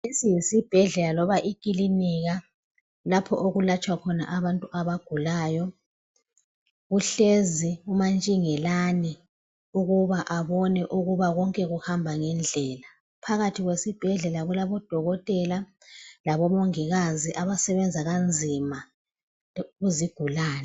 lesi yisibhedlela loba ikilinika lapho okulatshwa khona abantu abagulayo uhlezi umantshingelani ukuba abone ukuba konke kuhamba ngendlela phakathi kwesibhedlela kulabodokotela labo mongikazi abasebenza kanzima kuzigulani